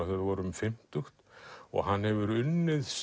þau voru um fimmtugt hann hefur unnið